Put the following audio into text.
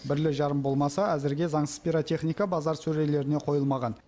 бірлі жарым болмаса әзірге заңсыз пиротехника базар сөрелеріне қойылмаған